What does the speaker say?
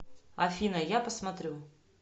афина я посмотрю